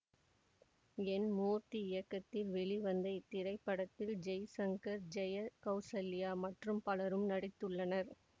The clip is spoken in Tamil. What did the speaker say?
என் மூர்த்தி இயக்கத்தில் வெளிவந்த இத்திரைப்படத்தில் ஜெய்சங்கர் ஜெயா கௌசல்யா மற்றும் பலரும் நடித்துள்ளனர்